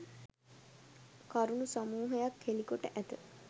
කරණු සමූහයක් හෙළිකොට ඇත.